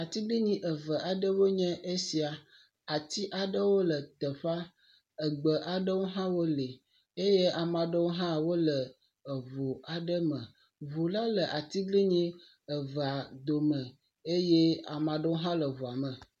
Atiglinyi eve aɖewoe nye esia, ati aɖewo le teƒea, egbe aɖewo hã wole eye amea ɖewo hã wole eŋu aɖe me. Ŋu la le atiglinyi evea dome eye amea ɖewo hã wole eŋua me.